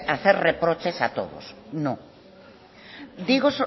hacer reproches a todos no digo